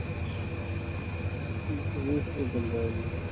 ਗੰਢਾਂ ਹੀ